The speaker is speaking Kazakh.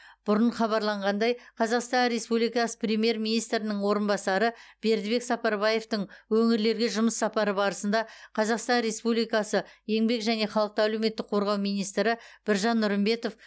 бұрын хабарланғандай қазақстан республикасы премьер министрінің орынбасары бердібек сапарбаевтың өңірлерге жұмыс сапары барысында қазақстан республикасы еңбек және халықты әлеуметтік қорғау министрі біржан нұрымбетов